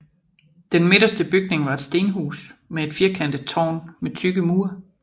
Den midterste bygning var et stenhus med et firkantet tårn med tykke mure